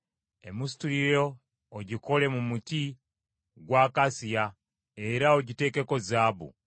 Emisituliro ogikole mu muti gwa akasiya, era ogiteekeko zaabu.